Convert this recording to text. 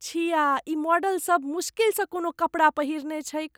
छिया! ई मॉडलसभ मुश्किल स कोनो कपड़ा पहिरने छैक।